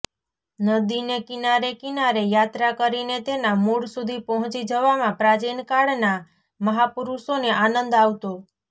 નદીને કિનારે કિનારે યાત્રા કરીને તેના મૂળ સુધી પહોંચી જવામાં પ્રાચીન કાળના મહાપુરુષોને આનંદ આવતો